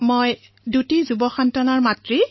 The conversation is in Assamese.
মই দুজন তৰুণৰ মাতৃ